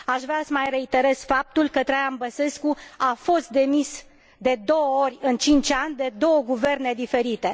Aș vrea să mai reiterez faptul că Traian Băsescu a fost demis de două ori în cinci ani, de două guverne diferite.